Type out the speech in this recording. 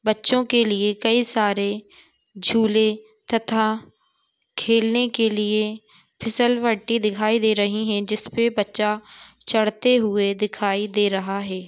बच्चो के लिए कई सारे झूले तथा खेलने के लिए फिसलवटी दिखाई दे रही है जिसपे बच्चा चढ़ते हुए दिखाई दे रहा है।